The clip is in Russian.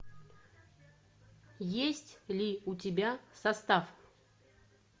есть ли у тебя состав